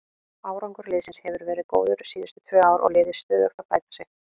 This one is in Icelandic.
Árangur liðsins hefur verið góður síðustu tvö ár og liðið stöðugt að bæta sig.